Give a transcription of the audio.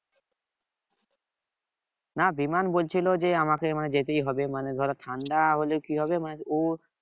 না বিমাল বলছিল যে আমাকে যেতেই হবে মানে ধর ঠান্ডা হলে কি হবে মানে